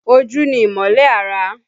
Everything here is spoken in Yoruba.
Ojú ni ìmọ́lẹ̀ ara